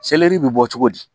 bɛ bɔ cogo di